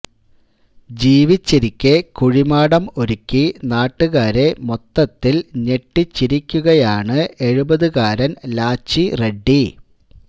ജീവിച്ചിരിക്കെ കുഴിമാടം ഒരുക്കി നാട്ടുകാരെ മൊത്തത്തില് ഞെട്ടിച്ചിരിക്കുകയാണ് എഴുപതുകാരന് ലാച്ചി റെഡ്ഡി